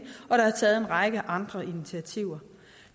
og der er blevet taget en række andre initiativer